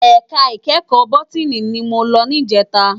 Èká ikèékò bótìní ni mó lò nijètá